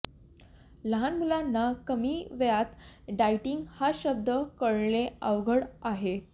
लहान मुलांना कमी वयात डाएटिंग हा शब्द कळणे अवघड आहे